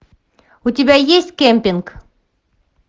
у тебя есть кемпинг